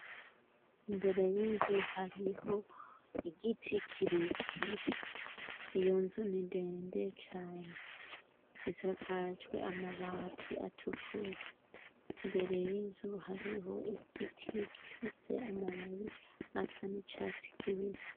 Imbere y'inzu hariho igiti kirekire, iyo nzu ni ndende cane, isakajwe amabati atukura ,imbere y'inzu hariho igiti gifise amababi asa n'icatsi kibisi.